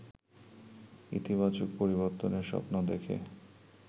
ইতিবাচক পরিবর্তনের স্বপ্ন দেখে